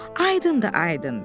Aydındır, aydındır.